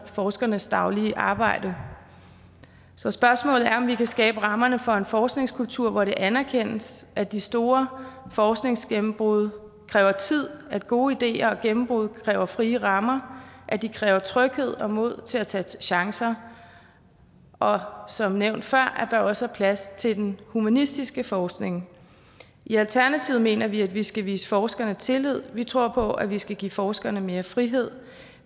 forskernes daglige arbejde så spørgsmålet er om vi kan skabe rammerne for en forskningskultur hvor det anerkendes at de store forskningsgennembrud kræver tid at gode ideer og gennembrud kræver frie rammer at de kræver tryghed og mod til at tage chancer og at der som nævnt før også er plads til den humanistiske forskning i alternativet mener vi at vi skal vise forskerne tillid vi tror på at vi skal give forskerne mere frihed